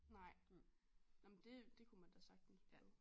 Nej nå men det det kunne man da sagtens prøve